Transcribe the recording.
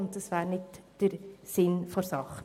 Das wäre nicht im Sinn der Sache.